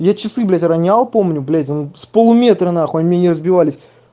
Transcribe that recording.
я часы блять ронял помню блять он с полуметра нахуй они не разбивались